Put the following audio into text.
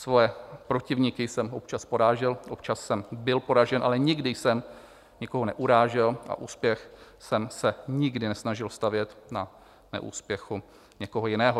Svoje protivníky jsem občas porážel, občas jsem byl poražen, ale nikdy jsem nikoho neurážel a úspěch jsem se nikdy nesnažil stavět na neúspěchu někoho jiného.